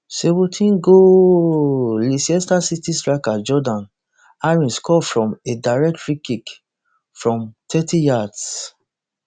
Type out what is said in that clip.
seventeen goooooooaaaaaaalllllleicester city striker jordan ayew score from a direct freekick from thirty yards